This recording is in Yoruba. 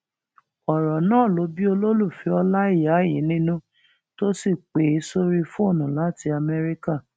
ọrọ náà ló bí olólùfẹ ọláìyá yìí nínú tó sì pè é sórí fóònù láti amẹríkà